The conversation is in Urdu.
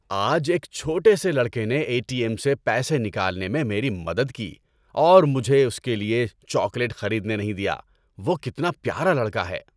آج ایک چھوٹے سے لڑکے نے اے ٹی ایم سے پیسے نکالنے میں میری مدد کی اور مجھے اس کے لیے چاکلیٹ خریدنے نہیں دیا۔ وہ کتنا پیارا لڑکا ہے۔